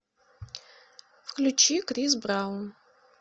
включи крис браун